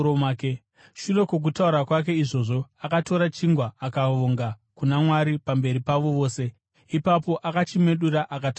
Shure kwokutaura kwake izvozvo, akatora chingwa akavonga kuna Mwari pamberi pavo vose. Ipapo akachimedura akatanga kudya.